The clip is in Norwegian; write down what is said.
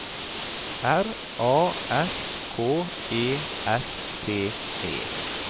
R A S K E S T E